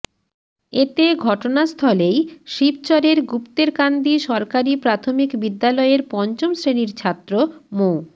এতে ঘটনাস্থলেই শিবচরের গুপ্তেরকান্দি সরকারি প্রাথমিক বিদ্যালয়ের পঞ্চম শ্রেণির ছাত্র মো